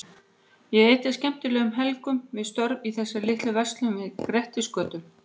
Ég eyddi skemmtilegum helgum við störf í þessari litlu verslun við Grettisgötu.